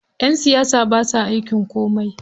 Ƴan siyasa basa aikin komai.